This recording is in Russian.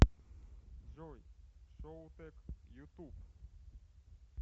джой шоутек ютуб